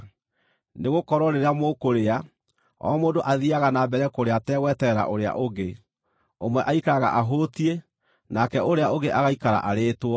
nĩgũkorwo rĩrĩa mũkũrĩa, o mũndũ athiiaga na mbere kũrĩa ategweterera ũrĩa ũngĩ. Ũmwe aikaraga ahũtiĩ, nake ũrĩa ũngĩ agaikara arĩĩtwo.